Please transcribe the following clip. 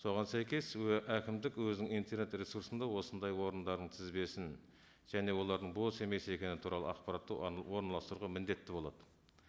соған сәйкес әкімдік өзінің интернет ресурсында осындай орындардың тізбесін және олардың бос емес екені туралы ақпаратты оған орналастыруға міндетті болады